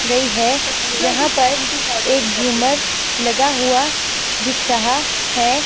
गई है जहां पर एक झूमर लगा हुआ दिख रहा है।